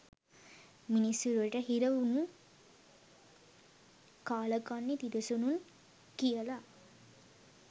මිනිස් සිරුරට හිර වුනු කාලකන්නි තිරිසනුන් කියල